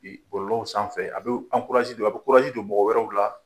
Bi bɔlɔlɔw sanfɛ a bɛ a bɛ don mɔgɔ wɛrɛw la.